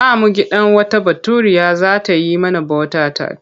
Za mu gidan wata Baturiya za ta yi mana bota-tat.